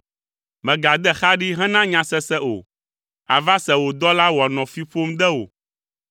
Mègade xa ɖi hena nyasese o, àva se wò dɔla wòanɔ fi ƒom de wò!